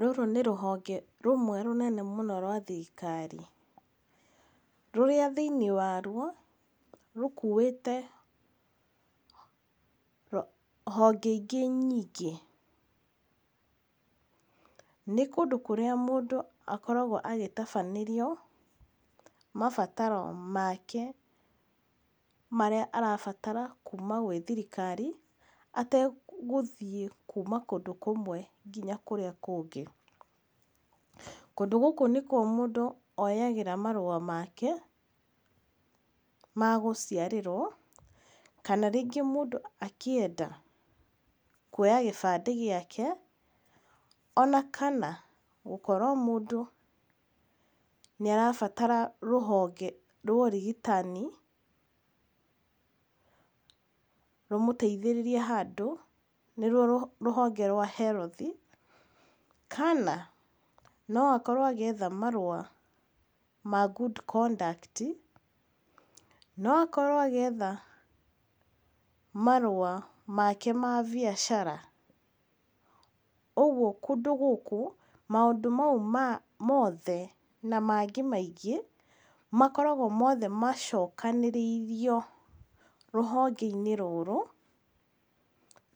Rũrũ nĩ rũhonge rũmwe rũnene mũno rwa thirikari. Rũrĩa thĩiniĩ warũo rũkũĩte rũ, honge ingĩ nyingĩ. Nĩ kũndũ kũrĩa mũndũ akoragũo agĩtabanĩrio mabataro make marĩa arabatara kũma gwĩ thirikari, ategũthiĩ kũma kũndũ kũmwe nginya kũrĩa kũngĩ. Kũndũ gũkũ nĩkũo mũndũ oyagĩra marũa make ma gũciarĩrũo kana rĩngĩ mũndũ akĩenda kũoya gĩbandĩ gĩake, ona kana gũkorũo mũndũ nĩarabatara rũhonge ra ũrigitani rũmũteithĩrĩrie handũ, nĩrũo rĩhonge rwa [cs[ health, kana noakorũo agĩetha marũa ma good conduct, noakorũo agĩetha marũa make ma mbiacara. Ũgũo kũndũ gũkũ, maũndũ maũ ma mothe na mangĩ maingĩ makoragũo mothe macokanĩrĩirio rũhonge-inĩ rũrũ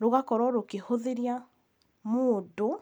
rũgakorũo rũkĩhũthĩria mũndũ.